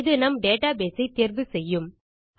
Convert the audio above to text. இது நம் டேட்டாபேஸ் ஐ தேர்வு செய்யும்